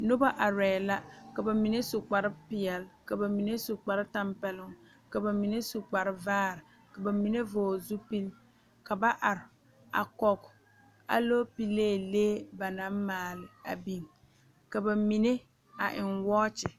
Noba arɛɛ la ka ba mine su kpar peɛle ka ba mine su kpar tɛmpeloŋ ka ba mine su kpar vaare ka ba mine vɔgele zupili ka ba are koge aloopelee ba naŋ maale a biŋ ka ba mime a eŋ wɔɔkyi